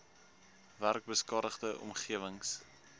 werk beskadigde omgewings